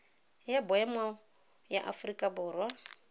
ya boemo ya aforika borwa